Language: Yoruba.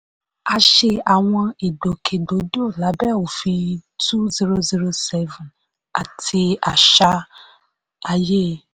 a ṣe àwọn ìgbòkègbodò lábẹ́ òfin two thousand seven àti àṣà ayé.